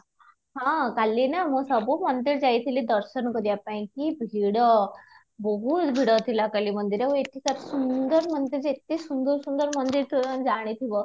ହଁ, କାଲି ନା ମୁଁ ସବୁ ମନ୍ଦିର ଯାଇଥିଲି ଦର୍ଶନ କରିବା ପାଇଁ କି ଭିଡ, ବହୁତ ଭିଡ ଥିଲା କାଲି ମନ୍ଦିର ଆଉ ଏଠିକାର ସୁନ୍ଦର ମନ୍ଦିର ଯେ ଏତେ ସୁନ୍ଦର ସୁନ୍ଦର ମନ୍ଦିର ତୁ ଆଁ ଜାଣିଥିବ